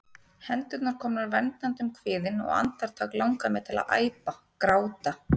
Hendurnar komnar verndandi um kviðinn, og andartak langar mig til að æpa, gráta.